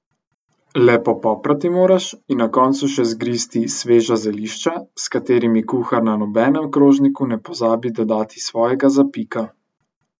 Le popoprati moraš in na koncu še zgristi sveža zelišča, s katerimi kuhar na nobenem krožniku ne pozabi dodati svojega zapika.